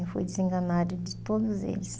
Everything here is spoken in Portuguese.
Eu fui desenganada de todos eles.